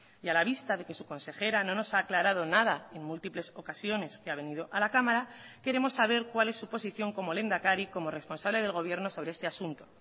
y a la vista de que su consejera no nos ha aclarado nada en múltiples ocasiones que ha venido a la cámara queremos saber cuál es su posición como lehendakari como responsable del gobierno sobre este asunto